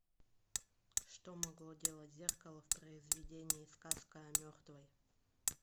что могло делать зеркало в произведении сказка о мертвой